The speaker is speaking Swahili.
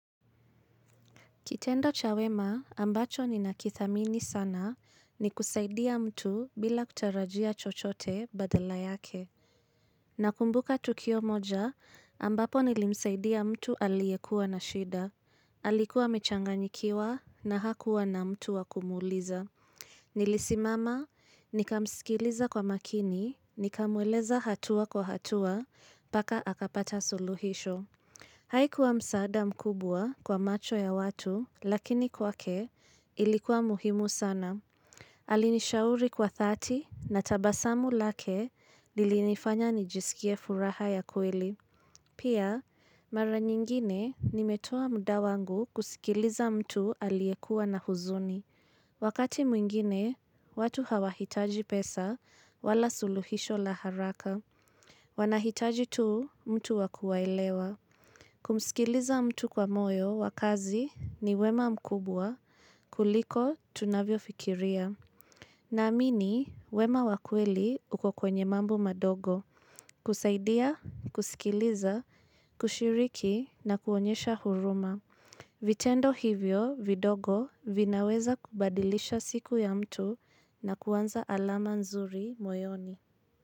Kitendo cha wema ambacho ni nakithamini sana ni kusaidia mtu bila kutarajia chochote badala yake. Nakumbuka tukio moja ambapo nilimsaidia mtu aliyekua na shida. Alikuwa amechanganyikiwa na hakuwa na mtu wakumuliza. Nilisimama nikamsikiliza kwa makini, nikamweleza hatua kwa hatua, paka akapata suluhisho. Haikuwa msaada mkubwa kwa macho ya watu, lakini kwa ke ilikuwa muhimu sana. Alinishauri kwa thati na tabasamu lake lilinifanya nijisikie furaha ya kweli. Pia, mara nyingine nimetoa muda wangu kusikiliza mtu aliyekuwa na huzuni. Wakati mwingine, watu hawahitaji pesa wala suluhisho la haraka. Wanahitaji tu mtu wakuwaelewa. Kumsikiliza mtu kwa moyo wakazi ni wema mkubwa kuliko tunavyo fikiria. Na amini wema wakweli ukokwenye mambo madogo kusaidia, kusikiliza, kushiriki na kuonyesha huruma. Vitendo hivyo vidogo vinaweza kubadilisha siku ya mtu na kuanza alama nzuri moyoni.